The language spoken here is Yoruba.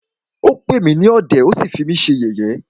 Ó pè mí ní ọ̀dẹ̀,ó sí fí mí ṣe yẹ̀yé.